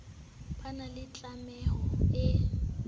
ba na le tlameho e